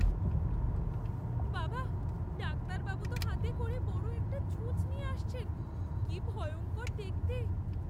বাবা, ডাক্তারবাবু তো হাতে করে বড় একটা ছুঁচ নিয়ে আসছেন। কি ভয়ঙ্কর দেখতে।